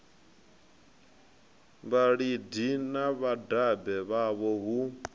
vhalidi na vhadabe vhavho hu